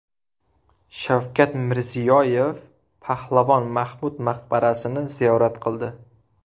Shavkat Mirziyoyev Pahlavon Mahmud maqbarasini ziyorat qildi.